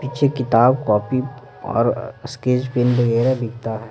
पीछे किताब कॉपी और स्केच पेन वगैरह बिकता है।